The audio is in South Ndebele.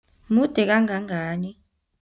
Mude kangangani?